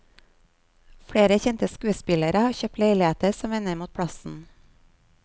Flere kjente skuespillere har kjøpt leiligheter som vender mot plassen.